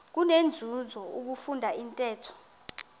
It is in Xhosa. kunenzuzo ukufunda intetho